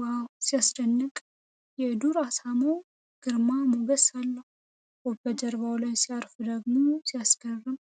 ዋው! ሲያስደንቅ! የዱር አሳማው ግርማ ሞገስ አለው! ወፉ በጀርባው ላይ ሲያርፍ ደግሞ ሲያስገርም!